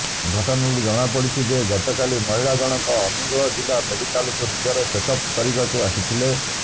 ଘଟଣାରୁ ଜଣାପଡିଛି ଯେ ଗତକାଲି ମହିଳା ଜଣଙ୍କ ଅନୁଗୋଳ ଜିଲ୍ଲା ମେଡିକାଲକୁ ନିଜର ଚେକ୍ଅପ୍ କରିବାକୁ ଆସିଥିଲେ